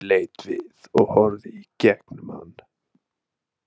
Hún leit við og horfði í gegnum hann.